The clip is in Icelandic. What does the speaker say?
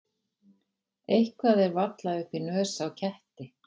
Eitthvað er varla upp í nös á ketti